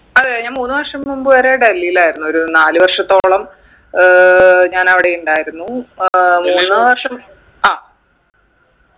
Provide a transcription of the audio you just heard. അതെ ഞാൻ മൂന്ന് വർഷം മുമ്പ് വരെ ഡൽഹീലായിരുന്നു ഒരു നാല് വർഷത്തോളം ഏർ ഞാൻ അവിടെ ഇണ്ടായിരുന്നു ഏർ വർഷം ആ